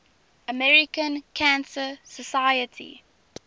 american cancer society